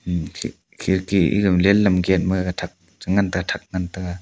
am khe khirki egama lam gate ma gathak chingan thak ngan taiga.